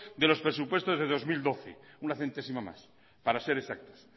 de los presupuestos del dos mil doce una centésima más para ser exactos